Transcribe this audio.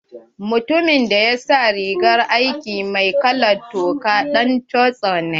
Mutumin da ya sa rigar aiki mai kalan toka ɗan custom ne.